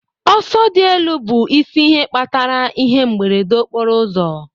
Ọsọ dị elu bụ isi ihe kpatara ihe mberede okporo ụzọ